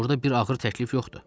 Burda bir ağır təklif yoxdur.